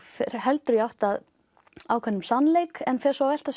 heldur í átt að ákveðnum sannleik en fer svo að velta